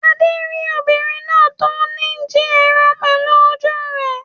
Adé rí obìnrin náà tó ní jí ẹran pẹ̀lú ojú rẹ̀.